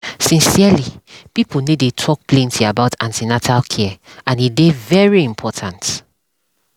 sincerely pipo no dey talk plenty about an ten atal care and e dey very important